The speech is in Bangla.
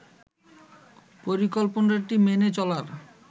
পরিকল্পনাটি মেনে চলার